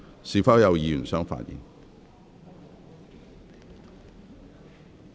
是否有議員想發言？